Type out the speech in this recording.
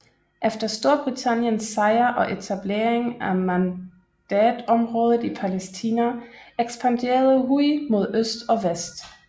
Efter Storbritanniens sejr og etableringen af Mandatområdet i Palæstina ekspanderede Huj mod øst og vest